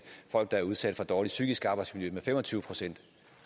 folk der er udsat for dårligt psykisk arbejdsmiljø med fem og tyve procent